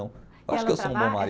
Eu acho que eu sou um bom marido.